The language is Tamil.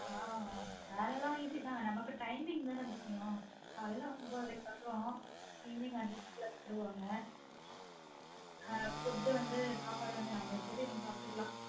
ஆஹ் வேல லான் easy தான் நமக்கு timing தான முக்கியம் காலைல ஒன்பதரைக்கு வரோம் evening அஞ்சு மணிக்கு லான் விட்டுருவாங்க food வந்து சாப்பாடு வந்து நம்ம இஷ்டத்துக்கு சாப்டுக்களான்